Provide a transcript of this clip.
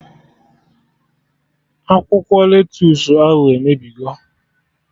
Akwụkwọ lettusu ahụ emebigo!